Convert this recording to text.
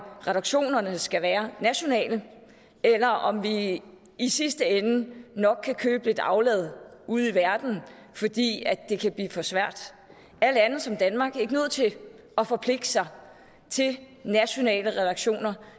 reduktionerne skal være nationale eller om vi i sidste ende nok kan købe lidt aflad ude i verden fordi det kan blive for svært er lande som danmark ikke nødt til at forpligte sig til nationale reduktioner